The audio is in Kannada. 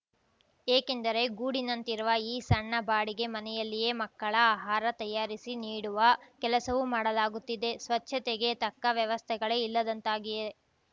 ಏಕೆಂದರೆ ಗೂಡಿನಂತಿರುವ ಈ ಸಣ್ಣ ಬಾಡಿಗೆ ಮನೆಯಲ್ಲಿಯೇ ಮಕ್ಕಳ ಆಹಾರ ತಯಾರಿಸಿ ನೀಡುವ ಕೆಲಸವೂ ಮಾಡಲಾಗುತ್ತಿದೆ ಸ್ವಚ್ಚತೆಗೆ ತಕ್ಕ ವ್ಯವಸ್ಥೆಗಳೇ ಇಲ್ಲದಂತಾಗಿದೆ